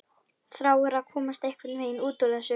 Þráir að komast einhvern veginn út úr þessu.